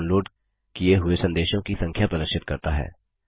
यह डाउनलोड किए हुए संदेशों की संख्या प्रदर्शित करता है